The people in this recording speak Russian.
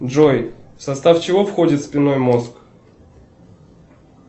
джой в состав чего входит спинной мозг